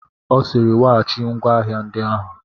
Ọ sịịrị weghachi ngwa ahịa ndị ahụ!